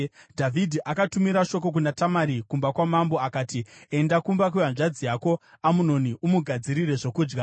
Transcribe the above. Dhavhidhi akatumira shoko kuna Tamari kumba kwamambo akati, “Enda kumba kwehanzvadzi yako Amunoni umugadzirire zvokudya.”